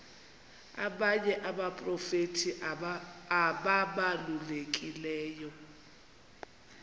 abanye abaprofeti ababalulekileyo